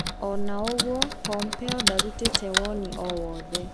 Ona ũguo Pompeo ndarutire woni oo wothe.